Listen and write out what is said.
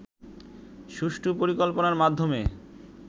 সুষ্ঠু পরিকল্পনার মাধ্যমে